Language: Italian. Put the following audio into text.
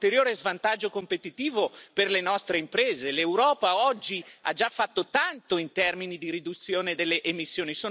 L'Europa oggi ha già fatto tanto in termini di riduzione delle emissioni, sono altri, fuori, che devono fare il loro mestiere.